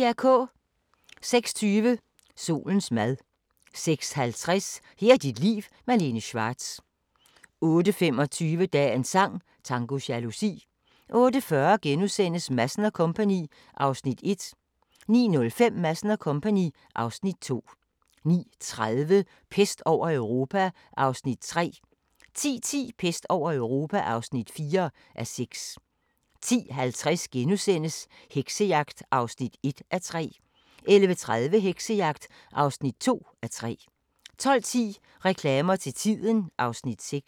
06:20: Solens mad 06:50: Her er dit liv – Malene Schwartz 08:25: Dagens sang: Tango jalousi 08:40: Madsen & Co. (Afs. 1)* 09:05: Madsen & Co. (Afs. 2) 09:30: Pest over Europa (3:6) 10:10: Pest over Europa (4:6) 10:50: Heksejagt (1:3)* 11:30: Heksejagt (2:3) 12:10: Reklamer til tiden (Afs. 6)